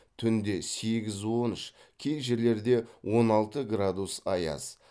түнде сегіз он үш кей жерлерде он алты градус аяз